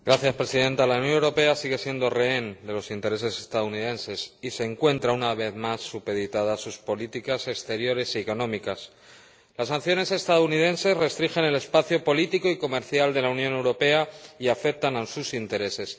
Señora Presidenta, la Unión Europea sigue siendo rehén de los intereses estadounidenses y se encuentra, una vez más, supeditada a sus políticas exteriores y económicas. Las sanciones estadounidenses restringen el espacio político y comercial de la Unión Europea y afectan a sus intereses.